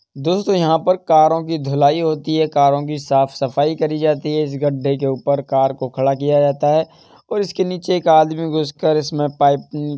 दोस्तों यहाँ पर कारों की धुलाई होती है कारो की साफ़ सफाई करी जाती है इस गड्ढे के ऊपर कार को खड़ा किया जाता है और इसके नीचे एक आदमी घुसकर इसमें पाइप अ --